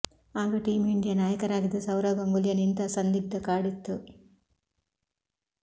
ಆಗ team India ನಾಯಕರಾಗಿದ್ದ ಸೌರವ್ ಗಂಗೂಲಿಯನ್ನು ಇಂಥ ಸಂದಿಗ್ಧ ಕಾಡಿತ್ತು